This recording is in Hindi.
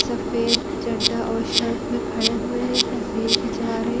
सफ़ेद चदा और शर्ट में खड़े हुए है तसवीर खिंचवा रहे --